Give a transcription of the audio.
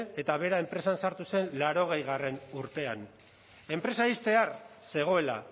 eta bera enpresan sartu zen berrogeigarrena urtean enpresa ixtear zegoela